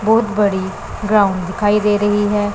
बहोत बड़ी ग्राउंड दिखाई दे रही है।